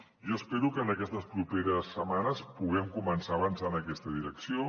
jo espero que en aquestes properes setmanes puguem començar a avançar en aquesta direcció